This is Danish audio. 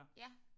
Ja